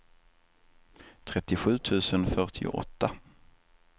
trettiosju tusen fyrtioåtta